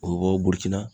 O burutiina